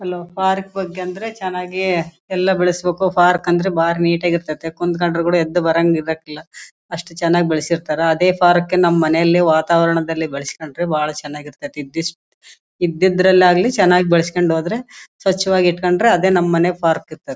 Hello park ಬಗ್ಗೆ ಅಂದ್ರೆ ಚೆನ್ನಾಗಿ ಎಲ್ಲ ಬೆಳಸ್ಬೇಕು ಪಾರ್ಕ್ ಅಂದ್ರೆ ಬಾರಿ ನೀಟ್ ಆಗಿ ಇರ್ತಾತ್ತೆ ಕುಂತ್ಕಂಡ್ರೆ ಕೊಡ ಎದ್ದ್ ಬರಂಗ್ ಇರಕ್ಕೆ ಇಲ್ಲ ಅಸ್ತ್ ಚೆನ್ನಾಗ್ ಬೆಳೆಸಿರ್ತ್ತರ ಅದೇ ಪಾರ್ಕ್ ನಮ್ ಮನೆಲಿಯಲ್ಲಿ ವಾತಾವರಣದಲ್ಲಿ ಬೆಳಸ್ಕೊಂಡ್ರೆ ಬಹಳ ಚೆನ್ನಾಗಿ ಇರ್ತಾತ್ತಿ ದಿಶ್ ಇದಿದ್ರಲ್ಲಿ ಆಗ್ಲಿ ಚೆನ್ನಾಗ್ ಬೆಳಸ್ಕೊಂಡು ಹೋದ್ರೆ ಸ್ವಚ್ಛವಾಗಿ ಇಟ್ಕೊಂಡ್ರೆ ಅದೇ ನಮ್ ಮನೆ ಪಾರ್ಕ್ ಇದ್ದಂಗೆ.